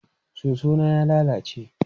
Soso na ya lalace.